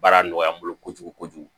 Baara nɔgɔya n bolo kojugu kojugu